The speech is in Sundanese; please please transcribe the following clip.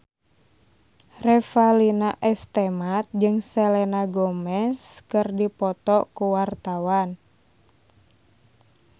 Revalina S. Temat jeung Selena Gomez keur dipoto ku wartawan